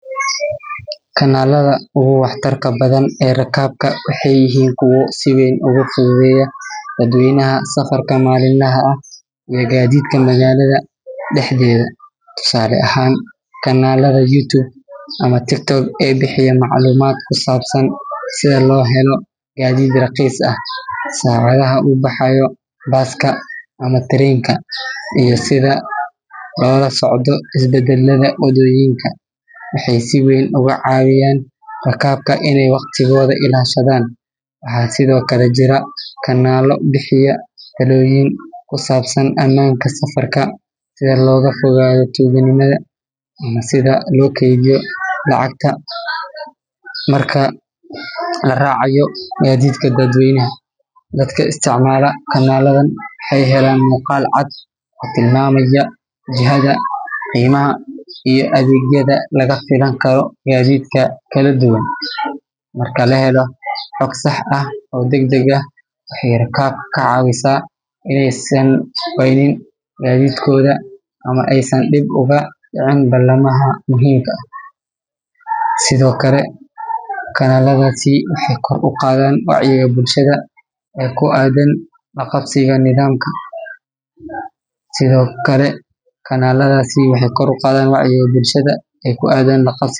Kanalada uguwaxtarka badan e rakabka waxa yahin kuwa siweyn ugu fududeya dadweynaha safarka malinlaha aah e gadidka magalada daxdeda. tusale ahan kanalada YuTube ama tiktok e bixiyeya maclumad kusabsan sida lohelo gaadid raqis aah saradaha ubaxayo Baska ama Tareynka I sida lolasocdo isbadalada wadoyinka waxay siweyn ugu cawiyan rakabka inay waqtigoda ilashadan waxa sido kala jira kanalo bixiya taloyin kusabsan amanka safarka si logafududeyo tugnimada iyo sida lo keidiyo lacagta marka laracayo gadidika dadweynaha dadka istacmala kanaladan waxay helan muqal caad o tilamamaya jihada I adegyada lagafilan karo gadidka kaladuwan marka lahelo cod sax aah o dagdag ah waxey rakabka kacawisa inaysan waynin gadidkoda ama aysan balamaha muhimka sido kala kanaladasi waxay kor uqadan wacyiga bulshada kuadan laqabsiga nadamka sido kala kanaladasi waxay kor uqadan wacyiga bulshada kuadan lqabsiga.